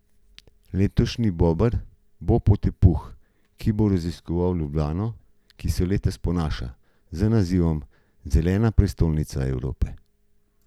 Letošnji Bober bo potepuh, ki bo raziskoval Ljubljano, ki se letos ponaša z nazivom Zelena prestolnica Evrope.